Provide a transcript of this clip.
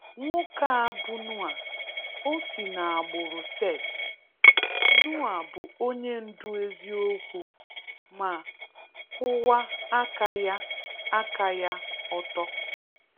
Nwoke a bụ Noah. O si n'agbụrụ Seth, Noah bụ onye ndụ eziokwu ma kwụwa aka ya aka ya ọtọ.